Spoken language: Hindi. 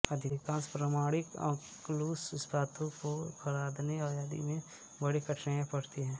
अधिकांश प्रामाणिक अकलुष इस्पातों को खरादने आदि में बड़ी कठिनाई पड़ती है